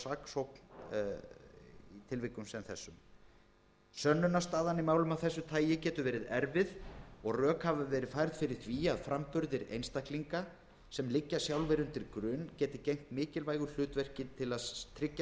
í tilvikum sem þessum sönnunarstaðan í málum af þessu tagi geti verið erfið og rök hafi verið færð fyrir því að framburðir einstaklinga sem liggja sjálfir undir grun geti gegnt mikilvægu hlutverki til að tryggja